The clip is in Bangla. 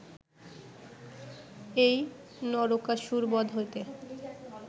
এই নরকাসুরবধ হইতে